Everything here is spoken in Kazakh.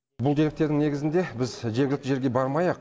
бұл деректердің негізінде біз жергілікті жерге бармай ақ